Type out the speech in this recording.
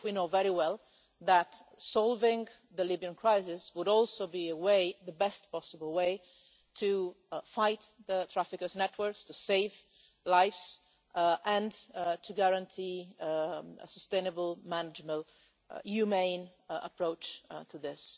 Even if we know very well that solving the Libyan crisis would also be the best possible way to fight the traffickers' networks, to save lives, and to guarantee a sustainable, manageable, humane approach to this.